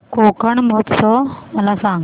कोकण महोत्सव मला सांग